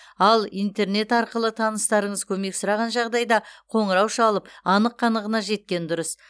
ал интернет арқылы таныстарыңыз көмек сұраған жағдайда қоңырау шалып анық қанығына жеткен дұрыс